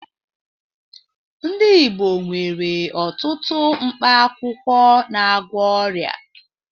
Ndị Igbo nwere ọtụtụ mkpa akwụkwọ na-agwọ ọria.